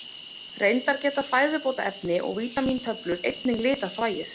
Reyndar geta fæðubótarefni og vítamíntöflur einnig litað þvagið.